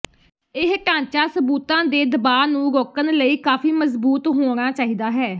ਇਹ ਢਾਂਚਾ ਸਬੂਤਾਂ ਦੇ ਦਬਾਅ ਨੂੰ ਰੋਕਣ ਲਈ ਕਾਫ਼ੀ ਮਜ਼ਬੂਤ ਹੋਣਾ ਚਾਹੀਦਾ ਹੈ